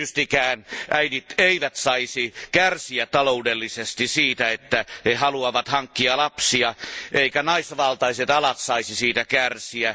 Tietystikään äidit eivät saisi kärsiä taloudellisesti siitä, että he haluavat hankkia lapsia, eivätkä naisvaltaiset alat saisi siitä kärsiä.